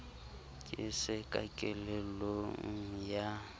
ke se ka kelellong ya